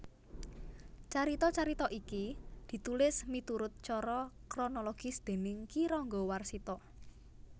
Carita carita iki ditulis miturut cara kronologis déning Ki Ranggawarsita